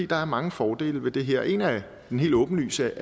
der er mange fordele ved det her en af de helt åbenlyse